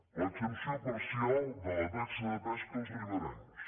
l’exempció parcial de la taxa de pesca als riberencs